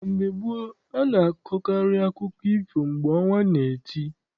Na mgbe gboo, a na- akọkarị akụkọ ifo mgbe ọnwa na- eti.